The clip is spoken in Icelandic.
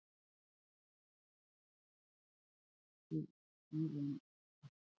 Hin nöfnin eru nýrri og eiga sér nokkuð skýran uppruna.